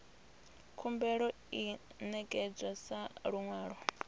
khumbelo i ṋekedzwa sa luṅwalo